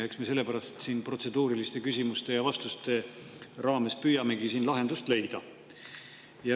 Eks me sellepärast siin protseduuriliste küsimuste ja vastuste raames püüamegi lahendust leida.